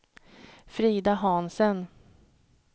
Frida Hansen